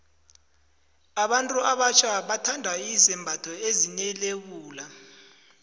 abantu abatjha bathanda izembatho ezine lebula